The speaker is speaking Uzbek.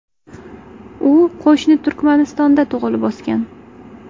U qo‘shni Turkmanistonda tug‘ilib o‘sgan.